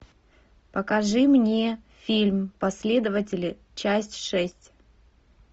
покажи мне фильм последователи часть шесть